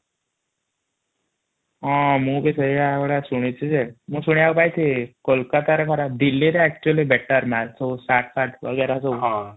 ହଁ ମୁ ବି ସେଇ ଭଳିଆ ଶୁଣୁଛି ଯେ ମୁ ଶୁଣିବାକୁ ପାଇଛି କୋଲକାତା ରେ ଖରାପ ଦିଲ୍ଲୀ ଏକ୍ଚୁୟାଲି ବେଟାର ମାଲ ସବୁ ଶର୍ଟ ଫର୍ଟ ବାଗେର ସବୁ ହଁ |